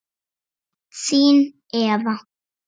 Þín Eva